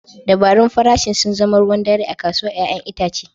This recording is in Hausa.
Dabarun farashin sun zama ruwan dare a kasuwar 'ya'yan itace.